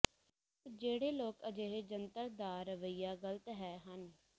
ਪਰ ਜਿਹੜੇ ਲੋਕ ਅਜਿਹੇ ਜੰਤਰ ਦਾ ਰਵੱਈਆ ਗ਼ਲਤ ਹੈ ਹਨ